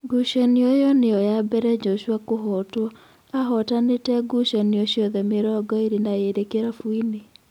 Ngucanio ĩyo nĩyo ya mbere Njoshua kũhotwo, ahootanĩte ngucanio ciothe mĩrongo ĩrĩ na ĩrĩ kĩrabuinĩ.